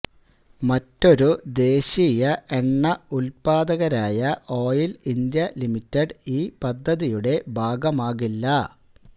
മറ്റൊരു ദേശീയ എണ്ണ ഉൽപാദകരായ ഓയില് ഇന്ത്യ ലിമിറ്റഡ് ഈ പദ്ധതിയുടെ ഭാഗമാകില്ല